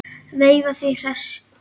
Veifar því hress í bragði.